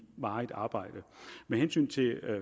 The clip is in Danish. varigt arbejde med hensyn til